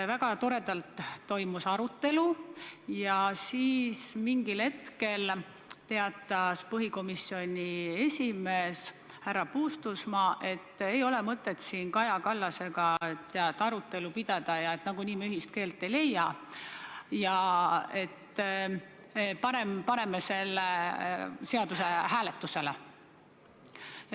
Väga toredalt toimus arutelu, aga siis ühel hetkel teatas põhiseaduskomisjoni esimees härra Puustusmaa, et ei ole mõtet siin Kaja Kallasega arutelu pidada, nagunii me ühist keelt ei leia, parem paneme selle seaduse hääletusele.